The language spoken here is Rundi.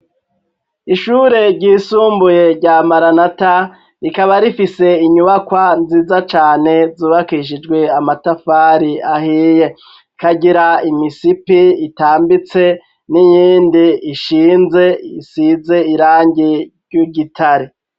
Ishure ryisumbuye rya maranata rikaba rifise inyubakwa nziza cane zubakishijwe amatafari ahiye ikagira imisipi itambitse n'iyindi ishinze isize irangi ry'igitare.